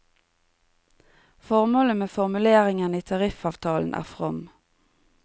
Formålet med formuleringen i tariffavtalen er from.